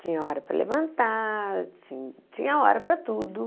Tinha hora para levantar, ti tinha hora para tudo.